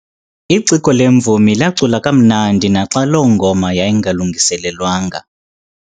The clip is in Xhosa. Iciko lemvumi lacula kamnandi naxa loo ngoma yayingalungiselelwanga.